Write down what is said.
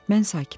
Mən sakitəm.